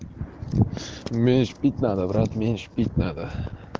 меньше пить надо брат меньше пить надо